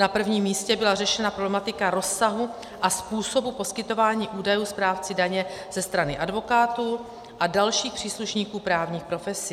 Na prvním místě byla řešena problematika rozsahu a způsobu poskytování údajů správci daně ze strany advokátů a dalších příslušníků právních profesí.